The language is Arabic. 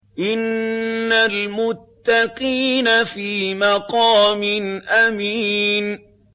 إِنَّ الْمُتَّقِينَ فِي مَقَامٍ أَمِينٍ